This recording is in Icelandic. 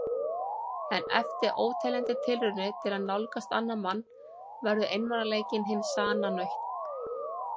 En eftir óteljandi tilraunir til að nálgast annan mann verður einmanaleikinn hin sanna nautn.